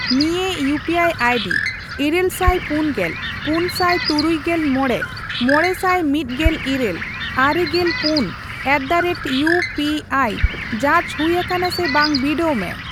ᱱᱤᱭᱟᱹ UPI ID ᱤᱨᱟᱹᱞᱥᱟᱭ ᱯᱩᱱᱜᱮᱞ, ᱯᱩᱱᱥᱟᱭ ᱛᱩᱨᱩᱭᱜᱮᱞ ᱢᱚᱲᱮ, ᱢᱚᱲᱮᱥᱟᱭ ᱢᱤᱫᱜᱮᱞ ᱤᱨᱟᱹᱞ, ᱟᱨᱮᱜᱮᱞ ᱯᱩᱱ ᱮᱴᱫᱟᱨᱮᱴ ᱤᱭᱩ ᱯᱤ ᱟᱭ ᱡᱟᱸᱪ ᱦᱩᱭ ᱟᱠᱟᱱᱟ ᱥᱮ ᱵᱟᱝ ᱵᱤᱰᱟᱹᱣ ᱢᱮ ᱾